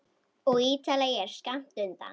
Og Ítalía er skammt undan.